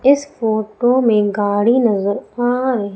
इस फोटो में गाड़ी नजर आ र--